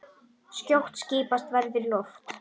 Skjótt skipast veður í loft.